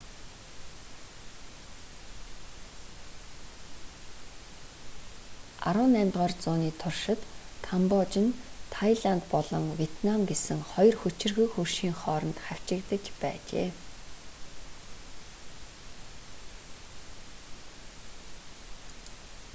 18-р зууны туршид камбож нь тайланд болон вьетнам гэсэн хоёр хүчирхэг хөршийн хооронд хавчигдаж байжээ